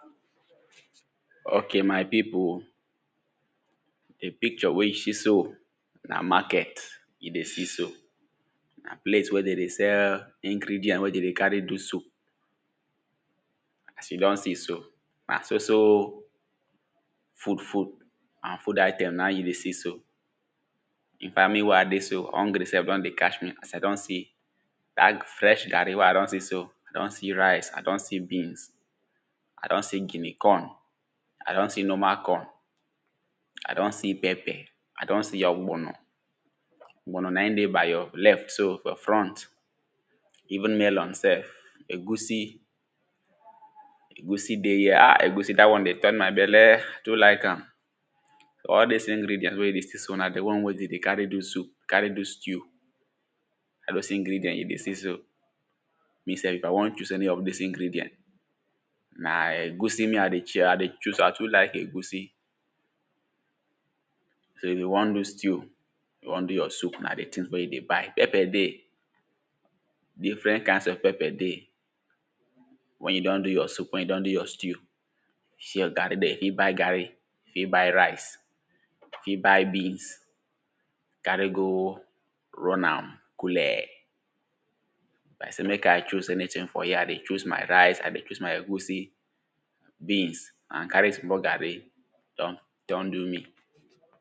o?ke? ma?i? pi?pu? di? pi?kt?? we? ju? si? so? na? ma?k?t i? de? si? so? na? ple?s we? de? de? s??l i?gri?di???nt we? de? de? ka?re? du? su?p a?s ju? d??b si? so? na? so? so? fu?d fu?d a?n fu?d a?i?t?m na? ju? de? si? so? i?nfa?t mi? we? a?i? de? so? h???gri? s??f d??n de? ka?? mi? a?s a?i? d??n si? da?t fr?? ga?ri? we? a?i? d??n si? so? a?i? d??n si? ra?i?s a?i? d??n si? bi?ns a?i? d??n si? gi?ni? k??n a?i? d??n si? n??ma? k??n a?i? d??n si? p??p?? a?i? d??n si? ??gb??n?? ??gb??n?? na? i? de? ba?i? j?: l??ft so? f?? fr??nt i?vu?n m??l??n s??f e?gu?si? e?gu?si? de? j?? a? e?gu?si? da?t wa?n de? t??n ma?i? b??l?? a?i? tu? la?i?k a?m ??l di?s i?gri?di???nt we? ju? si? so? na? di? wa?n we? de? de? ka?re? du? su?p ka?re? du? sti?u? ??l do?z i?gri?di???nt ju? de? si? so? i?f a?i? w??n ?u?z ??ni? ??f di?s i?gri?di???nt na? e?gu?si? mi? a?i? de? ?i?a? a?i? de? ?u?z a?i? tu: la?i?k e?gu?si? so? i?f ju? w??n du? sti?u? ju? w??n du? j?: su?p na? di? ti?n me? ju? de? ba?i? p??p?? de? di?fr??n ka?i?ns ??f p??p?? de? w??n ju? d??n j?: su?p w??n ju? d??n j?: sti?u? si? j?: ga?ri? di??? fi? ba?i? ga?ri? fi? ba?i? ra?i?s fi? ba?i? bi?ns ka?re? go? r??n a?m ku?l?? i?f a?i? se? me?k a?i? ?u?z ??ni?ti?n f?? ja? a?i? de? ?u?z ma?i? ra?i?s a?i? de? ?u?z ma?i? e?gu?si? bi?ns a?n ka?re? sm?? ga?ri? d??n d??n du? mi? ok, my pipu the picture wey you see so na market, e dey see so, na place wey de dey sell ingredient wey de dey carry do soup. as you don see so, na so so, food, food, and food item na you dey see so. infact, me wey i dey so hungry sef don dey catch me, as i don see dat, fresh garri wey i don see so, i don see rice, i don see beans, i don see guinea corn, i don see normal corn, i don see pepper, i don see ogbonor, ogbonor na in dey by your left so for front, even melon sef, egusi, egusi dey here ah, egusi dat one dey turn my belle, i too like am. all dis ingredient wey you dey see so, na the one wey de dey carry do soup, carry do stew, all dose ingredient you dey see so, me sef, if i wan choose any of this ingredient, na egusi me i dey chia, i dey choose, i too like egusi. so if you wan do stew, you wan do your soup, na the tings mey you dey buy, pepper dey, different kinds of pepper dey, when you don do your soup, when you don do your stew, see your garri there, fit buy garri, fit buy rice, fit buy beans, carry go run am coole. if i sey make i choose anyting for here, i dey choose my rice, i dey choose my egusi, beans, and carry small garri don, don do me.